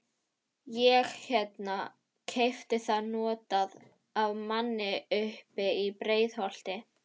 Ég hérna. keypti það notað. af manni uppi í Breiðholti.